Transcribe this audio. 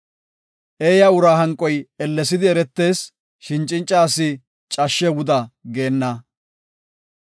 Eeya uraa hanqoy ellesidi eretees; shin cinca asi cashshe wuda geenna.